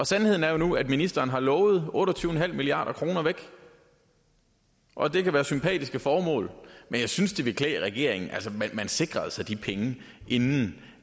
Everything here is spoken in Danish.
sandheden er jo nu at ministeren har lovet otte og tyve milliard kroner væk og det kan være til sympatiske formål men jeg synes det ville klæde regeringen at man sikrede sig de penge inden